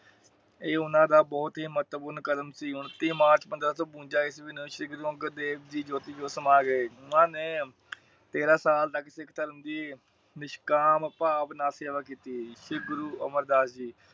ਇਹ ਉਹਨਾਂ ਬੋਹਤ ਹੀ ਮਹਤਵਪੂਰਣਕਦਮ ਸੀ। ਹੁਣ ਤੀਹ ਮਾਰਚ ਪੰਦਰਾਂ ਸੋ ਬਵੰਜਾ ਈਸਵੀ ਨੂੰ ਸ਼੍ਰੀ ਗੁਰੂ ਅੰਗਦ ਦੇਵ ਜੀ ਜੋਤੀ ਜੋਤ ਸਮਾਂ ਗਏ। ਓਹਨਾ ਨੇ ਤੇਰਹ ਸਾਲ ਤੱਕ ਸਿੱਖ ਧਰਮ ਦੀ ਨਿਸਕਾਂਮ ਭਾਵ ਨਾਲ ਸੇਵਾ ਕੀਤ। ਫਿਰ ਗੁਰੂ ਅਮਰ ਦਾਸ ਜੀ